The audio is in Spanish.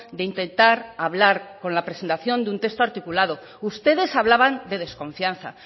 de intentar hablar con la presentación de un texto articulado ustedes hablaban de desconfianza